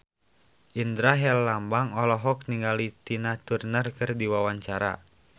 Indra Herlambang olohok ningali Tina Turner keur diwawancara